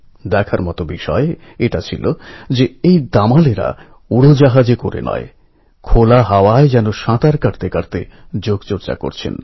আমাদের মত স্টুডেন্টদের জন্য এখন আপনার কী বক্তব্য আছে